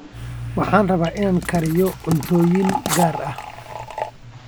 Waxaan rabaa in aan kariyo cuntooyin gaar ah